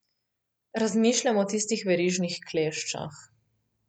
Razmišljam o tistih verižnih kleščah.